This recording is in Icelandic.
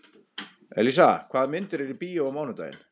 Elísa, hvaða myndir eru í bíó á mánudaginn?